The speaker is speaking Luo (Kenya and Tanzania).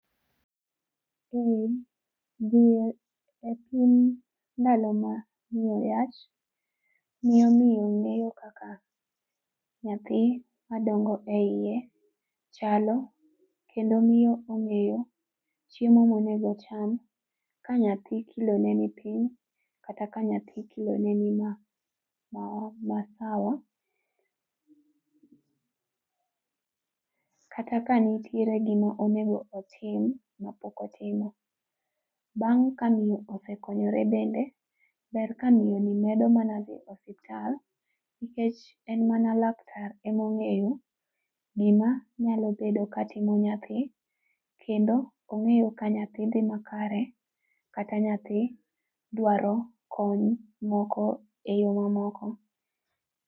Ee dhi e pim ndalo ma ne ayach ne omiyo ng'eyo kaka nyathi ma dongo e iye chalo kendo miyo ong'eyo chiemo ma onego ocham ka nyathi kilo ne ni piny kata ka nyathi kilo ne ni ma sawa. Kata ka nitiere gi ma onego otim ma pok otimo, bang' ka miyo osekonyore bende, ber ka miyo ni medo mana dhi e osiptal nikech en mana laktar ema ong'eyo gi ma nya bedo ni timo nyathi kendo ongeyo ka nyathi dhi makare kata ka nyathi dwaro kony moko e yo ma moko.